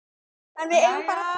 En við eigum bara þrjú.